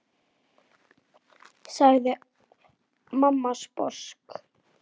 sagði mamma sposk.